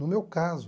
No meu caso...